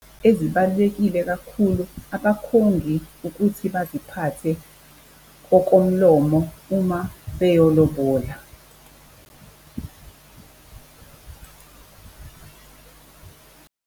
Ezibalulekile kakhulu abakhongi ukuthi baziphathe okomlomo uma beyolobola.